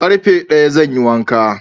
Ƙarfe daya zan yi wanka